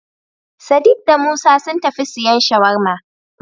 Sadik da Musa sun tafi siyan Shawarma.